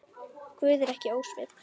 Guð er ekki ósvip